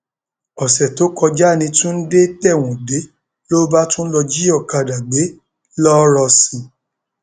oṣù tó kọjá ní túndé tẹwọn dé ló bá tún lọọ jí ọkadà gbé ńlọrọsin